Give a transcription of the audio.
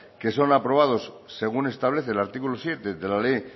que son aprobados según establece el artículo siete de la ley